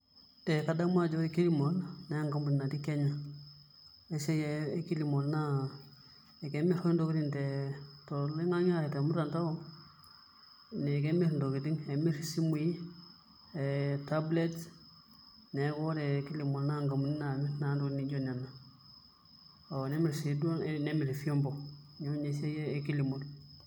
Ee kadamu ako ore Kmall naa enkampuni natii Kenya naa ore esiai e Kilimall naa kemirr oshi ntokitin toloing'ang'e ashu tormutandao naa kemirr ntokitin, kemirr isimuui ,kemirr tablets neeku ore Kilimall naa nkampunini naamirr naa ntokitin nijio nena ooh nemirr sii duo nemirr vyombo neeku ina eesiai e Kilimall.